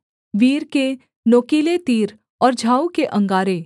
वीर के नोकीले तीर और झाऊ के अंगारे